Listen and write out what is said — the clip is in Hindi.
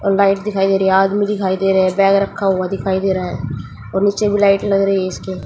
लाइट दिखाई दे रही है आदमी दिखाई दे रहे हैं बैग रखा हुआ दिखाई दे रहा है और नीचे भी लाइट लग रही है इसके--